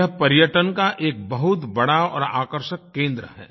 यह पर्यटन का एक बहुत बड़ा और आकर्षक केंद्र है